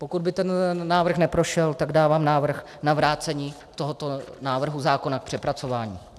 Pokud by ten návrh neprošel, tak dávám návrh na vrácení tohoto návrhu zákona k přepracování.